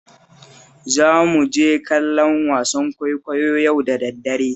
Za mu je kallon wasan kwaikwayo yau da daddare